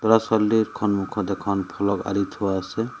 ল'ৰা-ছোৱালী সন্মুখত এখন ফলক আঁৰি থোৱা আছে।